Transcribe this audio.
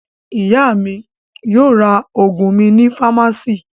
Ìyá mi yóò ra àwọn òògùn mi ní fámásíì.